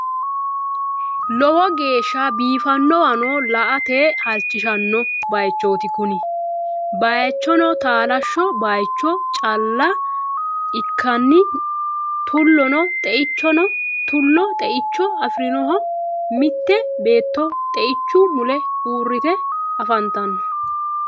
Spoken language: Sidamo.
lowo geesha biifanowanno la'ate halichishanno bayichooti kunni bayichinno taalasho bayicho cala ikikinni tulonna xe'icho afirinnoho mitte beetonno xe'ichu mulle uurite afantanno.